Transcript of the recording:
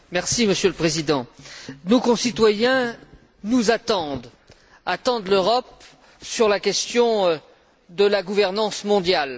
Monsieur le Président, nos concitoyens nous attendent, ils attendent l'Europe sur la question de la gouvernance mondiale.